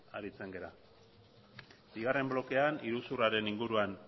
aritzen gara bigarren blokean iruzurraren inguruan